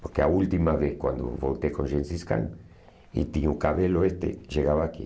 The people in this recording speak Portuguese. Porque a última vez, quando voltei com Gensis Khan e tinha o cabelo este, chegava aqui.